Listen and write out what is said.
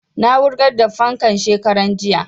Na wurgar da fankan shekaran jiya